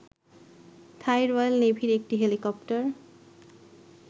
থাই royal নেভির একটি helicopter